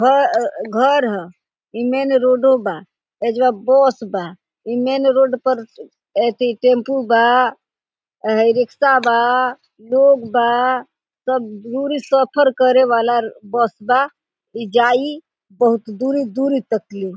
घआ घर ह ई मेन रोडो बा ऐजवा बस बा ई मेन रोड पर ऐथी टेम्पू बा हई रिक्सा बा लोग बा सब दुरी सफर करे वाला बस बा ई जाई बहुत दूरी दूरी तक ले।